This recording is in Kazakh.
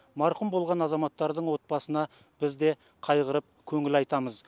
марқұм болған азаматтардың отбасына біз де қайғырып көңіл айтамыз